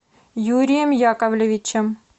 юрием яковлевичем